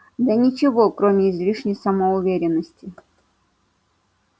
да ничего кроме излишней самоуверенности